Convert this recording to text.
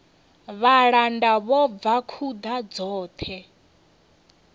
vhalanda vho bva khuḓa dzoṱhe